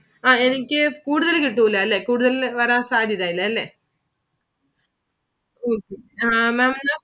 ആ എനിക്ക് കൂടുതല് കിട്ടൂല്ല അല്ലെ കൂടുതല് വരൻ സാധ്യത ഇല്ല അല്ലെ okay maam അത്